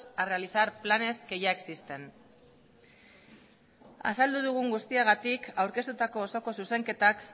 a realizar planes que ya existen azaldu dugun guztiagatik aurkeztutako osoko zuzenketak